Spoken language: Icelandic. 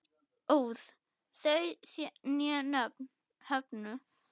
óð þau né höfðu